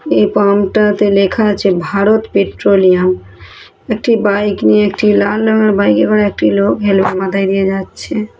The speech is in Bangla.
এ পামটাতে লেখা আছে ভারত পেট্রোলিয়াম । একটি বাইক নিয়ে একটি লাল রঙের বাইক -এ করে একটি লোক হেলমেট মাথায় দিয়ে যাচ্ছে।